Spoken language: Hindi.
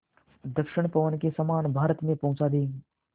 दक्षिण पवन के समान भारत में पहुँचा देंगी